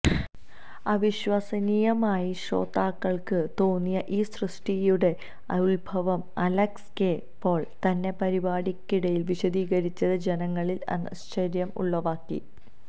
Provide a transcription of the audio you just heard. അവിശ്വസ്സനീയമായി ശ്രോതാക്കള്ക്ക് തോന്നിയ ഈ സൃഷ്ട്ടിയുടെ ഉത്ഭവം അലക്സ് കെ പോള് തന്നെ പരിപാടിക്കിടയില് വിശദീകരിച്ചത് ജനങ്ങളില് ആശ്ചര്യം ഉളവാക്കി